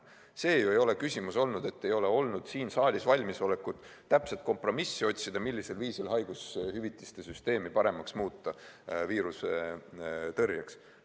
See ei ole ju küsimus olnud, et siin saalis ei olda valmis täpset kompromissi otsima, millisel viisil haigushüvitiste süsteemi viiruse tõrjeks paremaks muuta.